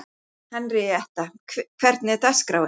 Henrietta, hvernig er dagskráin?